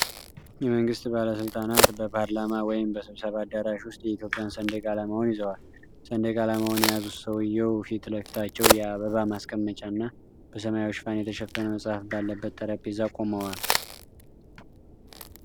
የመንግስት ባለስልጣናት በፓርላማ ወይም በስብሰባ አዳራሽ ውስጥ የኢትዮጵያን ሰንደቅ ዓላማውን ይዘዋል። ሰንደቅ ዓላማውን የያዙት ሰውዬው ፊት ለፊታቸው የአበባ ማስቀመጫ እና በሰማያዊ ሽፋን የተሸፈነ መጽሐፍ ባለበት ጠረጴዛ ቆመዋል።